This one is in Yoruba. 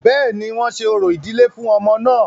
Bẹ́ẹ̀ni, wọ́n ṣe orò ìdílé fún ọmọ náà